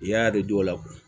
I y'a de dɔw la